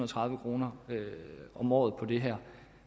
tredive kroner om året på det her